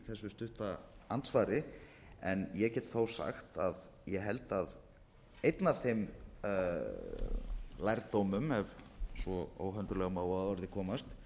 þessu stutta andsvari en ég get þó sagt að ég held að einn af þeim lærdómum ef svo óhönduglega má að orði komast